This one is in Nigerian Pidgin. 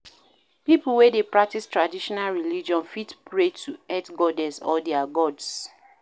Pipo wey dey practice traditional religion fit pray to earth goddess or their gods